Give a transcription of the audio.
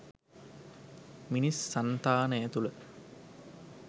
මිනිස් සන්තානය තුළ